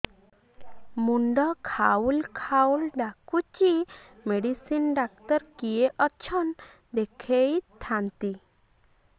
ମୁଣ୍ଡ ଖାଉଲ୍ ଖାଉଲ୍ ଡାକୁଚି ମେଡିସିନ ଡାକ୍ତର କିଏ ଅଛନ୍ ଦେଖେଇ ଥାନ୍ତି